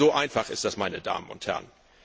So einfach ist das, meine Damen und Herren.